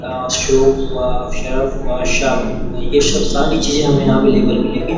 आ शोप हुआ शरफ़ हुआ साबुन हुआ ये सब सारे चीजे हमें यहाँ अवेलेबल मिलेंगी।